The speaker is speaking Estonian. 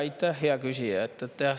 Aitäh, hea küsija!